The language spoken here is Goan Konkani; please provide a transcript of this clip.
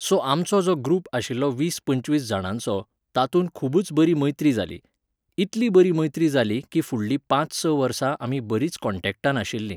सो आमचो जो ग्रूप आशिल्लो वीस पंचवीस जाणांचो, तातूंत खुबच बरी मैत्री जाली. इतली बरी मैत्री जाली की फुडलीं पांच स वर्सां आमी बरींच कॉन्टेक्टान आशिल्लीं